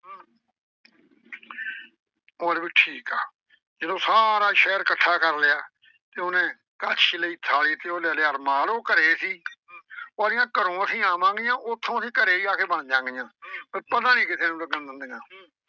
ਉਹ ਆਂਹਦੇ ਬਈ ਠੀਕ ਆ, ਜਦੋਂ ਸਾਰਾ ਸ਼ਹਿਰ ਇਕੱਠਾ ਕਰ ਲਿਆ। ਤੇ ਉਹਨੇ ਕੜਛੀ ਲਈ ਥਾਲੀ ਤੇ ਉਹ ਲੈ ਲਿਆ ਰੁਮਾਲ। ਉਹ ਘਰੇ ਸੀ। ਉਹ ਆਂਹਦੀ ਆਂ ਘਰੋਂ ਅਸੀਂ ਆਵਾਂਗੀਆਂ ਉਥੋਂ ਅਸੀਂ ਘਰੇ ਈ ਆ ਕੇ ਬਣ ਜਾਵਾਂਗਈਆਂ। ਬਈ ਪਤਾ ਨਈਂ ਕਿਸੇ ਨੂੰ ਲੱਗਣ ਦਿੰਦੀਆਂ।